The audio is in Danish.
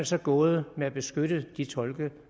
så gået med at beskytte de tolke